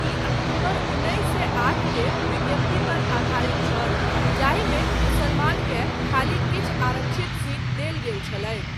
ई अक्टूबर उन्नैस सए आठ के विज्ञप्ति पर आधारित छल जाहिमे मुसलमानकेँ खाली किछु आरक्षित सीट देल गेल छलैक।